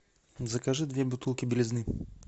закажи две бутылки белизны